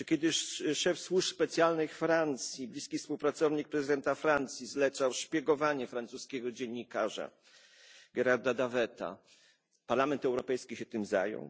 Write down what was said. Czy kiedy szef służb specjalnych Francji, bliski współpracownik prezydenta Francji zlecał szpiegowanie francuskiego dziennikarza Gérarda Davet, Parlament Europejski się tym zajął?